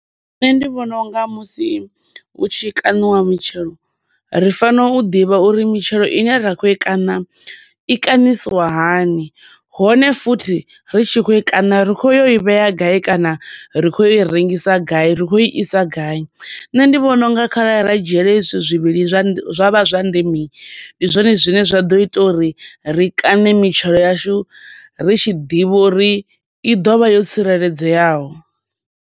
Nṋe ndi vhona unga musi hu tshi kaṋiwa mitshelo ri fanela u ḓivha uri mitshelo ine ra kho i kaṋa, i kaṋisiwa hani hone futhi ri tshi khou i kaṋa ri khou ya u i vhea gai, kana ri khou ya u i rengisa gai, ri kho isa gai. Nṋe ndi vhona u nga kharali ra dzhiela hezwi zwithu zwivhili zwa vha zwa ndeme, ndi zwone zwa ḓo ita uri ri kaṋe mitshelo yashu ri tshi ḓivha uri i ḓovha yo tsireledzeaho.